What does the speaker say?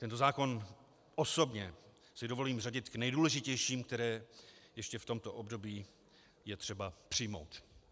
Tento zákon si osobně dovolím řadit k nejdůležitějším, které ještě v tomto období je třeba přijmout.